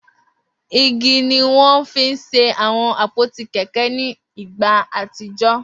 Igi ni wọ́n fi ń ṣe àwọn àpótí kẹ̀kẹ́ ní ìgbà àtijọ́